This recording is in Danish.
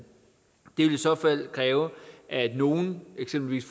det ville i så fald kræve at nogen eksempelvis